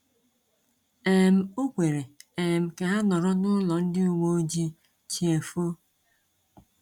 um O kwere um ka ha nọrọ n’ụlọ ndị uwe ojii chiefóó.